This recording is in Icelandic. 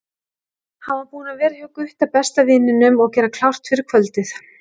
Hann var búinn að vera hjá Gutta, besta vininum, og gera klárt fyrir kvöldið.